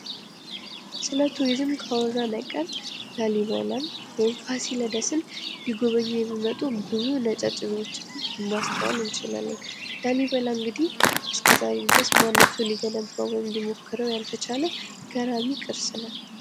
ስለ ቱሪዝም ካወራን አይቀር ላሊበላ ወይም ፋሲለደስን ሊጎበኙ የሚመጡ ብዙ ነጫጭ ሰዎችን ማስተዋል እንችላለን። ላሊበላ እንግዲህ እስከዛሬ ድረስ ማንም ሰው ሊገነባው ወይም ሊሞክረው ያልተቻለ ገራሚ ቅርስ ነው።